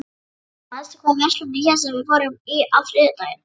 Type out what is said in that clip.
Valgerða, manstu hvað verslunin hét sem við fórum í á þriðjudaginn?